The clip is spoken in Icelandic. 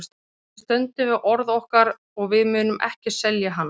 Við stöndum við orð okkar og við munum ekki selja hann.